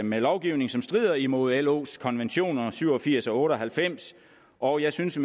med lovgivning som strider imod los konventioner syv og firs og otte og halvfems og jeg synes at